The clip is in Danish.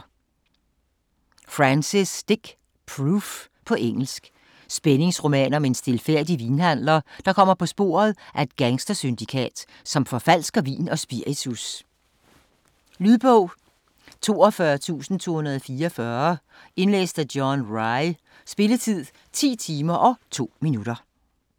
Francis, Dick: Proof På engelsk. Spændingsroman om en stilfærdig vinhandler, der kommer på sporet af et gangstersyndikat, som forfalsker vin og spiritus. Lydbog 42244 Indlæst af John Rye Spilletid: 10 timer, 2 minutter.